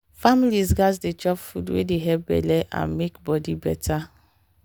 families gats dey chop food wey dey help belle and make body better.